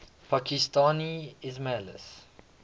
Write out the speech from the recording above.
pakistani ismailis